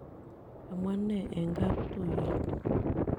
kamwa nee eng' kaptuyot